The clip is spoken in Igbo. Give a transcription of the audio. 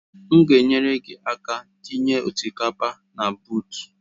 M ga-enyere gị aka itinye osikapa na buut